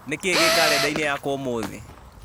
nĩ kĩĩ gĩ karenda-inĩ yakwa ũmũthĩ